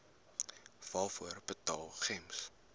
waarvoor betaal gems